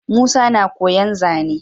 Musa na koyan zane